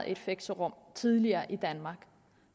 et fixerum tidligere i danmark